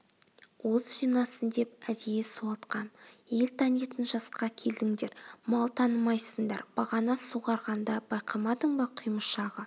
уыз жинасын деп әдейі суалтқам ел танитын жасқа келдіңдер мал танымайсыңдар бағана суғарғанда байқамадың ба құймышағы